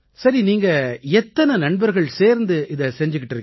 சரி நீங்க எத்தனை நண்பர்கள் சேர்ந்து இதை செஞ்சுக்கிட்டு இருக்கீங்க